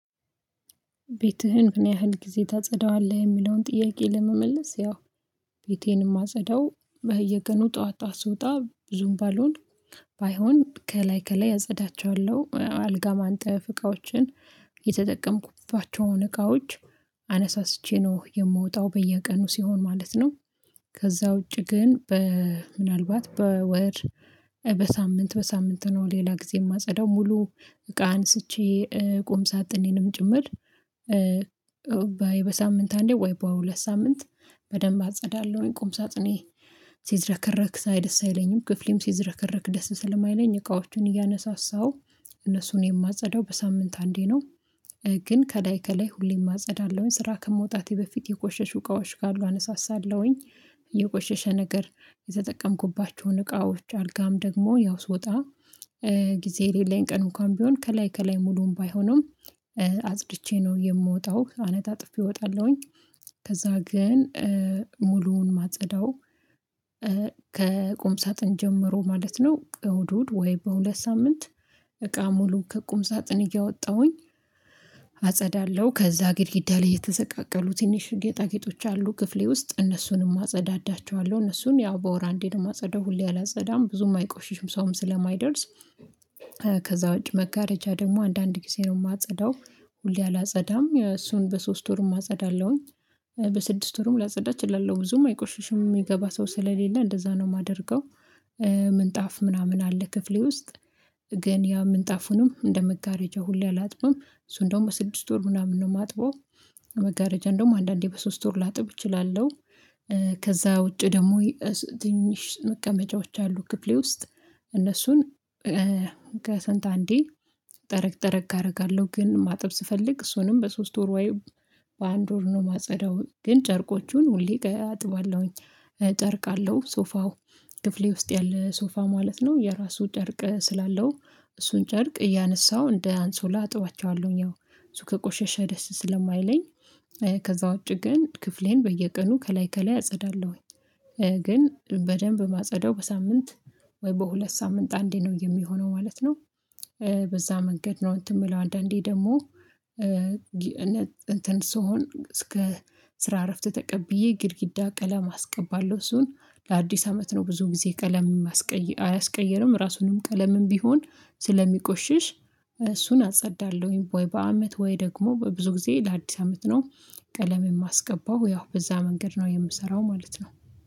ቤትህን ምንያህል ጊዜ ታጸዳዋለህ? የሚለውን ጥያቄ ለመመለስ ያው ቤቴን የማጸዳው በየቀኑ ጠዋት ጠዋት ስወጣ ብዙም ባልሆን ባይሆን ከላይ ከላይ አጸዳቸዋለሁ። አልጋ ማንጠፍ እቃዎችን የተጠቀምኩባቸውን እቃዎች አነሳስቼ ነው የምወጣው በየቀኑ ሲሆን ማለት ነው። ከዛ ውጪ ግን በ ምናልባት በወር በሳምንት በሳምንት ነው ሌላ ጊዜ የማጸዳው ሙሉ እቃ አንስቼ ቁምሳጥኔንም ጭምር በሳምንት አንዴ ወይ በሁለት ሳምንት በደንብ አጸዳለሁኝ ቁም ሳጥኔን። ሲዝረከረክ ሳይ ደስ አይለኝም። ክፍሌም ሲዝረከረክ ደስ ስለማይለኝ እቃዎቹን እያነሳሳሁ እነሱን የማጸዳው በሳምንት አንዴ ነው። ግን ከላይ ከላይ ሁሌም አጸዳለሁኝ። ስራ ከመውጣቴ በፊት የቆሸሹ እቃዎች ካሉ አነሳሳለሁኝ። የቆሸሸ ነገር የተጠቀምኩባቸውን እቃዎች አልጋም ደግሞ ያው ስወጣ ጊዜ የሌለኝ ቀን እንኳን ቢሆን ከላይ ከላይ ሙሉውን ባይሆንም አጽድቼ ነው የምወጣው አነጣጥፌ እወጣለሁኝ። ከዛ ግን ሙሉውን ማጸዳው ከቁምሳጥን ጀምሮ ማለት ነው እሁድ እሁድ ወይ በሁለት ሳምንት እቃ ሙሉ ከቁም ሳጥን እያወጣሁኝ አጸዳለሁ። ከዛ ግድግዳ ላይ የተሰቃቀሉ ትንሽ ጌጣጌጦች አሉ። ክፍሌ ውስጥ እነሱንም አጸዳዳቸዋለሁ። እነሱን ያው በወር አንዴ ነው የማጸዳው ሁሌ አላጸዳም ብዙም አይቆሽሹም። ሰውም ስለማይደርስ ከዛ ውጪ መጋረጃ ደግሞ አንዳንድ ጊዜ ነው የማጸዳው። ሁሌ አላጸዳም። እሱን በሶስት ወርም አጸዳለሁኝ። በስድስት ወርም ላጸዳ እችላለሁ ብዙም አይቆሽሽም። የሚገባ ሰው ስለሌለ እንደዛ ነው የማደርገው። ምንጣፍ ምናምን አለ ክፍሌ ውስጥ ግን ያ ምንጣፉንም እንደ መጋረጃው ሁሌ አላጥብም። እሱ እንደውም በስድስት ወር ምናምን ነው የማጥበው መጋረጃ እንደውም አንዳንዴ በሶስት ወር ላጥብ እችላለሁ። ከዛ ውጪ ደግሞ ትንሽ መቀመጫዎች አሉ ክፍሌ ውስጥ። እነሱን ከስንት አንዴ ጠረግ ጠረግ አደርጋለሁ። ግን ማጠብ ስፈልግ እሱንም በሶስት ወር ወይ በአንድ ወር ነው የማጸዳው። ግን ጨርቆቹን ሁሌ አጥባለሁኝ። ጨርቅ አለው ሶፋው ክፍሌ ውስጥ ያለ ሶፋ ማለት ነው የራሱ ጨርቅ ስላለው እሱን ጨርቅ እያነሳው እንደ አንሶላ አጥቧቸዋለሁኝ። እሱ ከቆሸሸ ደስ ስለማይለኝ ከዛ ውጪ ግን ክፍሌን በየቀኑ ከላይ ከላይ አጸዳለሁኝ። ግን በደንብ ማጸዳው በሳምንት ወይ በሁለት ሳምንት አንዴ ነው የሚሆነው ማለት ነው። በዛ መንገድ ነው እንትን የምለው አንዳንዴ ደግሞ ስሆን እስከ ስራ እረፍት ተቀብዬ ግድግዳ ቀለም አስቀባለሁ። እሱን ለአዲስ አመት ነው ብዙ ጊዜ ቀለም የማስቀይ አያስቀይርም ራሱንም ቀለምም ቢሆን ስለሚቆሽሽ እሱን አጸዳለሁኝ ወይ በአመት ወይ ደግሞ በብዙ ጊዜ ለአዲስ አመት ነው። ቀለም የማስቀባው ያው በዛ መንገድ ነው የምሰራው ማለት ነው።